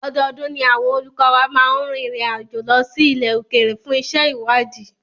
Ọdọọdún ni àwọn olùkọ́ wa máa ń rinrin àjo lọ́ sí ilẹ̀ òkèrè fún iṣé ìwádìí.